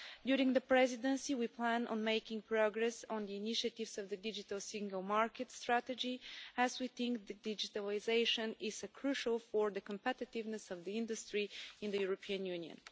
During the presidency, we plan on making progress on the initiatives of the Digital Single Market Strategy, as we think digitalisation is crucial for the competitiveness of the industry in the European Union.